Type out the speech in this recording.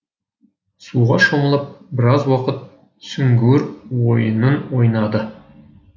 суға шомылып біраз уақыт сүңгуір ойынын ойнады